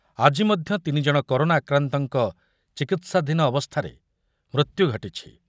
ଆଜ ମଧ୍ୟ ତିନି ଜଣ କରୋନା ଆକ୍ରାନ୍ତଙ୍କ ଚିକିତ୍ସାଧୀନ ଅବସ୍ଥାରେ ମୃତ୍ୟୁ ଘଟିଛି।